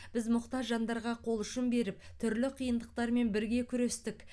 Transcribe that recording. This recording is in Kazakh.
біз мұқтаж жандарға қол ұшын беріп түрлі қиындықтармен бірге күрестік